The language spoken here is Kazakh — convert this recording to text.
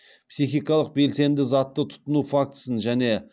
пихикалық белсенді затты тұтыну фактісін және